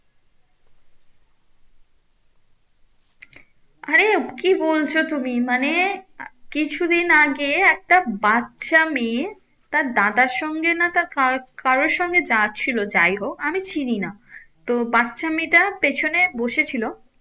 হ্যাঁ কি বলছো তুমি মানে কিছুদিন আগে একটা বাচ্ছা মেয়ে তার দাদার সঙ্গে না তার কারু কারুর সঙ্গে যাচ্ছিলো যাই হোক আমি চিনি না তো বাচ্ছা মেয়েটা পেছনে বসে ছিলো